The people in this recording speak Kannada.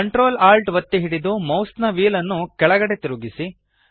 ctrl alt ಒತ್ತಿ ಹಿಡಿದು ಮೌಸ್ನ ವ್ಹೀಲ್ ನ್ನು ಕೆಳಗಡೆಗೆ ತಿರುಗಿಸಿ